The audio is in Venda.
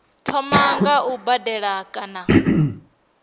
thoma nga u badela kana